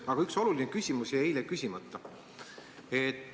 Aga üks oluline küsimus jäi eile küsimata.